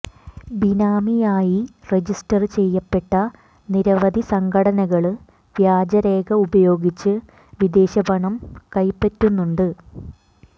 ബിനാമിയായി register ചെയ്യപ്പെട്ട നിരവധി സംഘടനകള് വ്യാജരേഖ ഉപയോഗിച്ച് വിദേശപണം കൈപ്പറ്റുന്നുണ്ട്